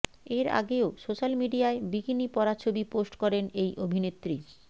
এর আগেও সোশ্যাল মিডিয়ায় বিকিনি পরা ছবি পোস্ট করেন এই অভিনেত্রী